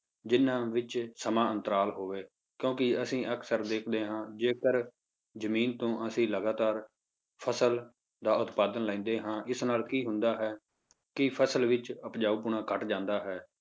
ਜਿੰਨਾਂ ਵਿੱਚ ਸਮਾਂ ਅੰਤਰਾਲ ਹੋਵੇ ਕਿਉਂਕਿ ਅਸੀਂ ਅਕਸਰ ਦੇਖਦੇ ਹਾਂ ਜੇਕਰ ਜ਼ਮੀਨ ਤੋਂ ਅਸੀਂ ਲਗਾਤਾਰ ਫਸਲ ਦਾ ਉਤਪਾਦਨ ਲੈਂਦੇ ਹਾਂ ਇਸ ਨਾਲ ਕੀ ਹੁੰਦਾ ਹੈ ਕਿ ਫਸਲ ਵਿੱਚ ਉਪਜਾਊਪੁਣਾ ਘੱਟ ਜਾਂਦਾ ਹੈ,